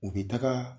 U bɛ taga